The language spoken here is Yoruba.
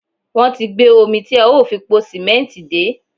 wọ́n ti gbé omi tí a ó fi po sìmẹ́ǹtì dé.